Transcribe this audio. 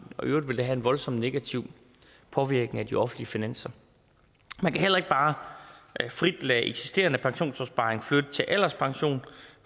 voldsom negativ påvirkning af de offentlige finanser man kan heller ikke bare frit lade eksisterende pensionsopsparing flytte til alderspension